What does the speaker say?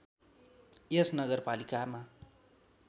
यस नगरपालिकामा